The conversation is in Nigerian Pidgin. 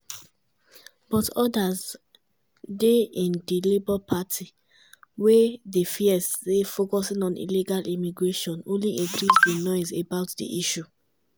but odas dey in di labour party wey dey fear say focusing on illegal immigration only increase di noise about di issue.